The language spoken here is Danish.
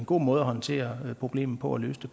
god måde at håndtere problemet på og løse